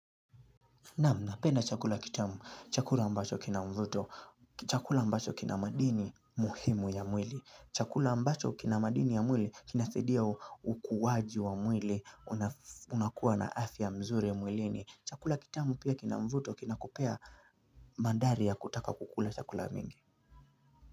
Naam, napenda chakula kitamu. Chakula ambacho kina mvuto. Chakula ambacho kina madini muhimu ya mwili. Chakula ambacho kina madini ya mwili kinathidia ukuwaji wa mwili. Unakuwa na afya mzuri ya mwilini. Chakula kitamu pia kina mvuto kina kupea mandari ya kutaka kukula chakula mingi.